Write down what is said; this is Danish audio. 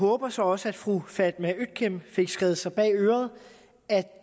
håber så også at fru fatma øktem fik skrevet sig bag øret at